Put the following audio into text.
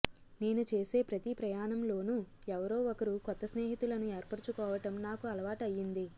నేను చేసే ప్రతి ప్రయాణంలోనూ ఎవరో ఒకరు కొత్త స్నేహితులను ఏర్పరుచుకోవటం నాకు అలవాటు అయ్యింది